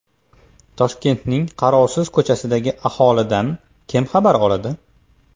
Toshkentning qarovsiz ko‘chasidagi aholidan kim xabar oladi?.